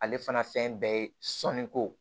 Ale fana fɛn bɛɛ ye sɔnni ko